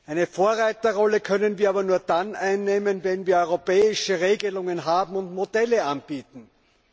Eine Vorreiterrolle können wir aber nur dann einnehmen, wenn wir europäische Regelungen haben und Modelle anbieten können.